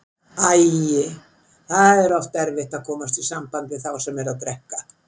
Æi, það er oft erfitt að komast í samband við þá sem eru að drekka.